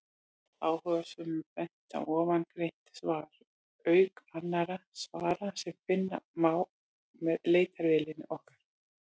Áhugasömum er bent á ofangreint svar, auk annarra svara sem finna má með leitarvélinni okkar.